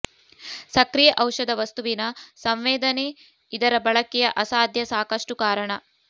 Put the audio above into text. ಸಕ್ರಿಯ ಔಷಧ ವಸ್ತುವಿನ ಸಂವೇದನೆ ಇದರ ಬಳಕೆಯ ಅಸಾಧ್ಯ ಸಾಕಷ್ಟು ಕಾರಣ